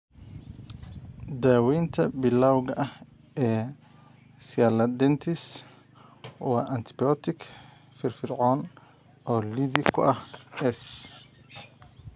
Daawaynta bilawga ah ee sialadenitis waa antibiyootiko firfircoon oo liddi ku ah S.